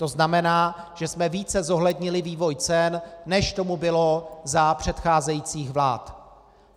To znamená, že jsme více zohlednili vývoj cen, než tomu bylo za předcházejících vlád.